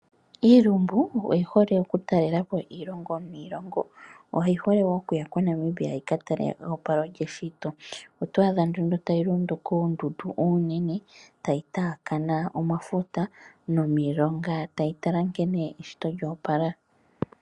Iilumbu oyihole oku talelapo iilngo niilongo. Oyihole okuya koNamibia yikatale eopalo lyeshito .oto adha nduno tayi londo koondundu oonene tayi taakana omafuta nomilongo tayi tala nkene eshito lyo opala.